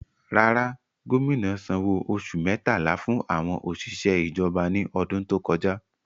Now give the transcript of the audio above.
Rárá, gómìnà sanwó oṣù mẹ́tàlá fún àwọn òṣìṣẹ́ ìjọba ní ọdún tó kọjá.